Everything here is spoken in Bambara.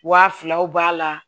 Wa filaw b'a la